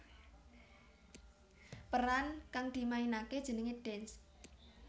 Peran kang dimainaké jenengé Dance